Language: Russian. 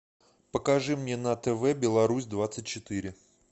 покажи мне на тв беларусь двадцать четыре